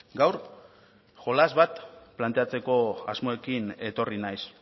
gaur jolas bat planteatzeko asmoekin etorri naiz